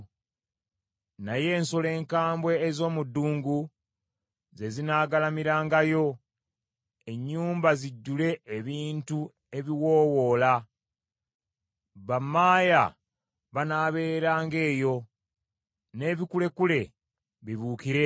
Naye ensolo enkambwe ez’omu ddungu ze zinaagalamirangayo; ennyumba zijjule ebintu ebiwoowoola; bammaaya banaabeeranga eyo, n’ebikulekule bibuukire eyo.